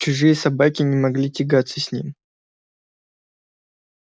чужие собаки не могли тягаться с ним